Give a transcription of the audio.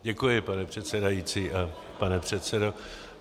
Děkuji, pane předsedající a pane předsedo.